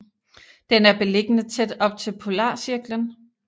Den er beliggende tæt op til Polarcirklen